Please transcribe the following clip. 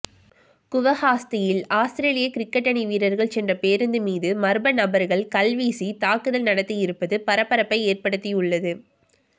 குவஹாத்தியில் Australian cricket அணி வீரர்கள் சென்ற பேருந்து மீது மர்ம நபர்கள் கல்வீசித் தாக்குதல் நடத்தியிருப்பது பரபரப்பை ஏற்படுத்தியுள்ளது